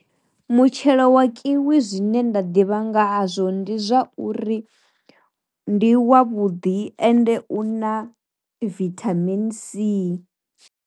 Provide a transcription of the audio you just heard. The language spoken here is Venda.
Mutshelo wa kiwi zwine nda ḓivha ngahazwo ndi zwauri ndi wavhudi ende u na vithamini C.